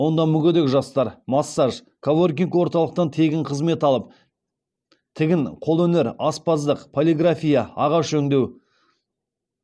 онда мүгедек жастар массаж коворкинг орталықтан тегін қызмет алып тігін қолөнер аспаздық полиграфия ағаш өңдеу